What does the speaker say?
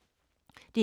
DR K